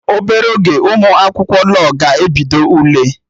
Obere oge Ụmụ akwụkwọ law ga-ebido Ule